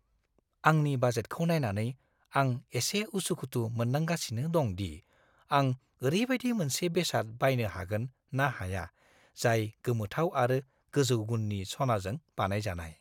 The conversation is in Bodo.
आंनि बाजेटखौ नायनानै, आं एसे उसुखुथु मोनदांगासिनो दं दि आं ओरैबायदि मोनसे बेसाद बायनो हागोन ना हाया जाय गोमोथाव आरो गोजौ गुननि सनाजों बानायजानाय।